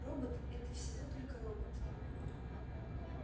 робот это всего только робот